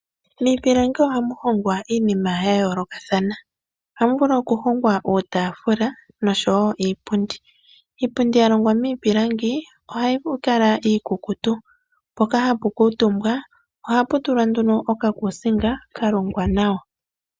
Miipilangi ohamu hongwa iinima ya yoolokathana. Ohamu vulu okuhongwa uutafula noshowo iipundi. Iipundi ya longwa miipilangi ohayi kala iikukutu mpoka hapu kuutumbwa ohapu tulwa nduno okakuusinga ka longwa nawa.